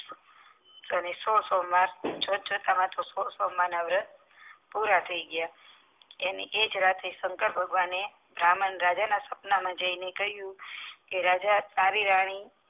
કરે છે સોમવાર જોત જોતામાં તો વર્ત પુરા થઈ ગયા એની એ જ રાતેશંકર ભગવાને રાજા ના સપના માં જાય ને કીધું કે રાજા તારી રાની